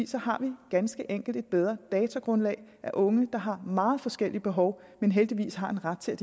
så har vi ganske enkelt et bedre datagrundlag af unge der har meget forskellige behov men heldigvis har en ret til at